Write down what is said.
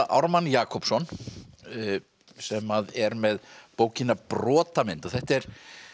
Ármann Jakobsson sem er með bókina Brotamynd þetta er